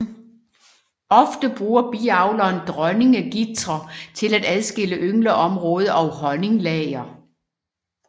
Ofte bruger biavleren dronningegitre til at adskille yngelområde og honninglager